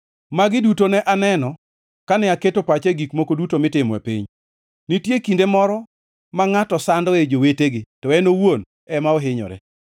Magi duto ne aneno, kane aketo pacha e gik moko duto mitimo e piny. Nitie kinde moro ma ngʼato sandoe jowetegi to en owuon ema ohinyore.